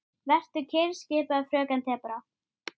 En nóg um það.